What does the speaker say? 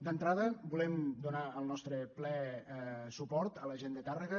d’entrada volem donar el nostre ple suport a la gent de tàrrega